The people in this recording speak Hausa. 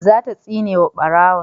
za ta tsine ma barawon